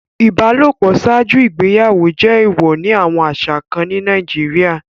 Ibalopo ṣaaju igbeyawo jẹ eewọ ni awọn aṣa kan ni Nàìjíríà